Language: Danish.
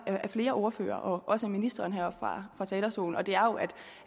af flere ordførere og også af ministeren heroppe fra talerstolen og det er